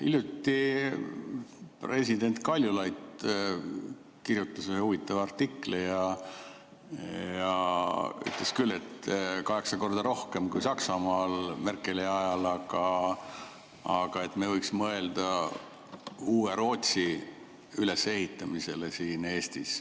Hiljuti kirjutas president Kaljulaid ühe huvitava artikli, kus ta ütles, et kaheksa korda rohkem kui Saksamaal Merkeli ajal, aga me võiksime mõelda uue Rootsi ülesehitamisele siin Eestis.